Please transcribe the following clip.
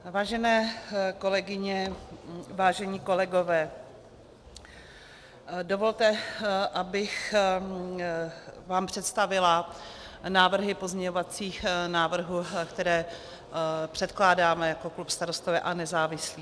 Vážené kolegyně, vážení kolegové, dovolte, abych vám představila návrhy pozměňovacích návrhů, které předkládáme jako klub Starostové a nezávislí.